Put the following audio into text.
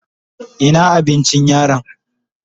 Ina abincin yaron?